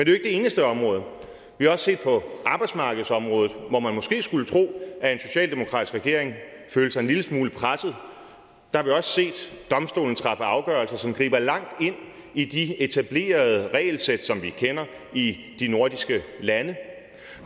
det eneste område vi har også på arbejdsmarkedsområdet hvor man måske skulle tro at en socialdemokratisk regering følte sig en lille smule presset set domstolen træffe afgørelser som griber langt ind i de etablerede regelsæt som vi kender i de nordiske lande